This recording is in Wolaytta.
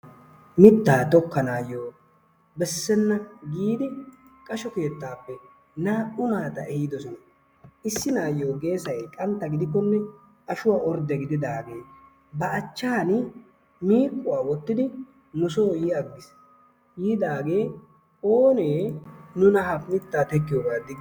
mitaa tokkanaayo besenna giidi qasho keettaappe naa'u naata ehidosona. issi naayo geeessay qantta gidikkonne ashuwa ordde gididaagee ba achaani miiquwa wotidi nusoo yi agiis. yidaagee oonne nuna ha mitaa tokkiyogaa digi..